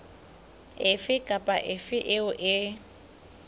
efe kapa efe eo e